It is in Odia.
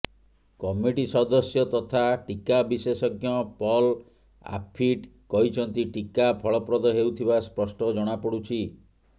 କମିଟି ସଦସ୍ୟ ତଥା ଟିକା ବିଶେଷଜ୍ଞ ପଲ୍ ଆଫିଟ୍ କହିଛନ୍ତି ଟିକା ଫଳପ୍ରଦ ହେଉଥିବା ସ୍ପଷ୍ଟ ଜଣାପଡ଼ୁଛି